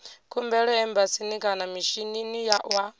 khumbelo embasini kana mishinini wa